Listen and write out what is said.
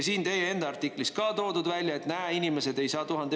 Siin teie enda artiklis ka toodud välja, et näe, inimesed ei saa …